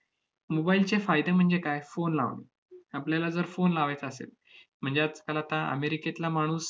mobile चे फायदे म्हणजे काय? phone लावणे. आपल्याला जर phone लावायचा असेल, म्हणजे आजकाल आता अमेरिकेतला माणूस